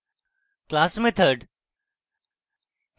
class method